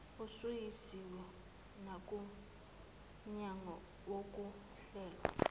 usuyisiwe nakumnyango wokuhlelwa